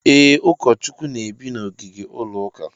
E, Ụkọchukwu n'ebi na ogige ụlọ ụka